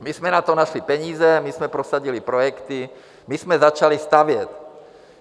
My jsme na to našli peníze, my jsme prosadili projekty, my jsme začali stavět.